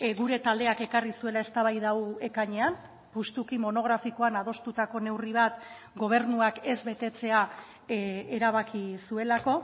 gure taldeak ekarri zuela eztabaida hau ekainean justuki monografikoan adostutako neurri bat gobernuak ez betetzea erabaki zuelako